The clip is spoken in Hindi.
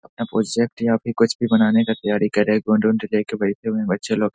अपना प्रोजेक्ट यहाँ पे कुछ भी बनाने का तैयारी कर रहेे है गोंद ओंद लेके बैठे हुए हैं बच्‍चे लोग।